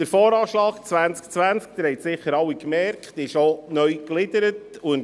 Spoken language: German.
Sie haben sicher alle festgestellt, dass der VA 2020 auch neu gegliedert ist.